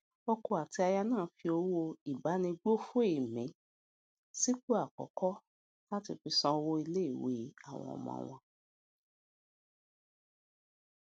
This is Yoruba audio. ọkọ àti aya náà fi owó ìbánigbófò èmí sípò àkọkọ láti fi san owó ilé ìwé àwọn ọmọ wọn